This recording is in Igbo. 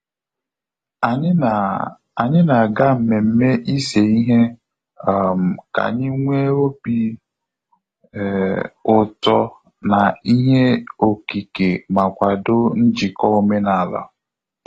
Anyị na Anyị na aga mmemme ise ihe um ka anyị nwe obi um ụtọ na ihe okike ma kwado njiko omenala